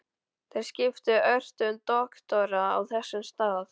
Þeir skiptu ört um doktora á þessum stað.